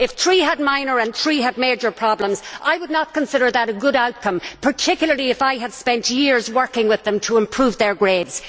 If three had minor and three had major problems, I would not consider that a good outcome, particularly if I had spent years working with them to improve their grades.